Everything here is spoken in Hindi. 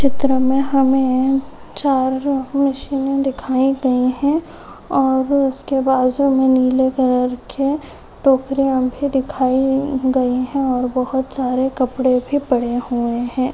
इस चित्र मे हमे चार मशीने दिखाई गई है और उसके बाजू मे नीले कलर के टोकरिया भी दिखाई गई है और बहुत सारे कपड़े भी पड़े हुए है।